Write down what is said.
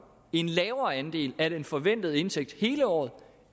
en lavere andel af den forventede indtægt hele året